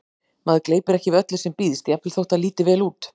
Maður gleypir ekki við öllu sem býðst, jafnvel þótt það líti vel út